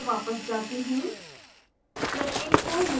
मैं स्लाइड्स पर वापस जाता हूँ